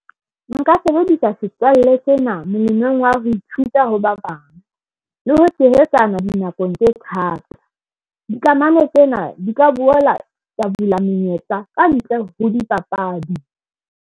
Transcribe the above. Nka sebedisa setswalle sena molemong wa ho ithuta ho ba bang le ho tshehetsana dinakong tse thata dikamano tsena di ka boela tsa bula menyetla ka ntle ho dipapadi.